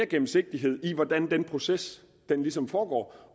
gennemsigtighed i hvordan den proces ligesom foregår